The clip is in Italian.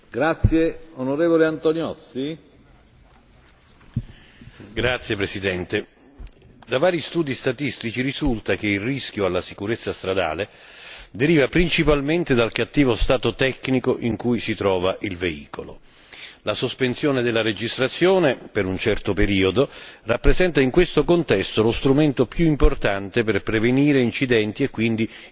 Signor Presidente, onorevoli colleghi, da vari studi statistici risulta che il rischio alla sicurezza stradale deriva principalmente dal cattivo stato tecnico in cui si trova il veicolo. La sospensione della registrazione per un certo periodo rappresenta in questo contesto lo strumento più importante per prevenire incidenti e quindi inutili rischi per i cittadini.